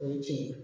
O ye tiɲɛ ye